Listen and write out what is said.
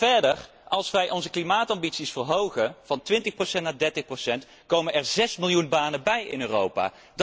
Maar verder, als wij onze klimaatambities verhogen van 20 naar 30, komen er zes miljoen banen bij in Europa!